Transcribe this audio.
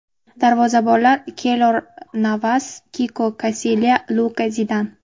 Darvozabonlar: Keylor Navas, Kiko Kasilya, Luka Zidan.